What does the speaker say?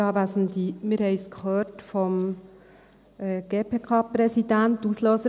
Wir haben es vom GPK-Präsidenten gehört: